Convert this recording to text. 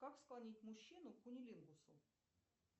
как склонить мужчину к кунилингусу